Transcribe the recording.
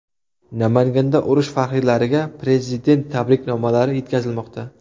Namanganda urush faxriylariga Prezident tabriknomalari yetkazilmoqda.